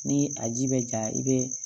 Ni a ji bɛ ja i bɛ